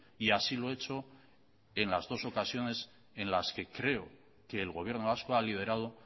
y así lo he hecho en las dos ocasiones en las que creo que el gobierno vasco ha liderado